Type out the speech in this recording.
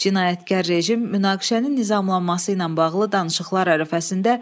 Cinayətkar rejim münaqişənin nizamlanması ilə bağlı danışıqlar ərəfəsində